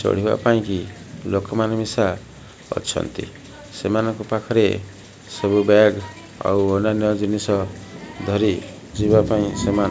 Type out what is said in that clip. ଚଳିବା ପାଇଁକି ଲୋକମାନେ ମିସା ଅଛନ୍ତି ସେମାନେ ପାଖରେ ସବୁ ବ୍ୟାକ ଆଉ ଅନ୍ୟନ ଜିନିଷ ଧରି ଜଯିବା ପାଇଁ ସେମାନେ --